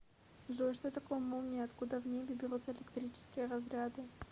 джой что такое молния и откуда в небе берутся электрические разряды